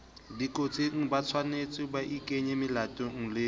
dikotsing hotshwanetse baikenye molatong le